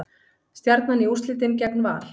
Stjarnan í úrslitin gegn Val